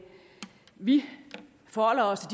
vi forholder os